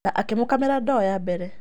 Na akĩmũkamĩra ndoo ya mbere.